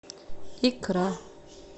икра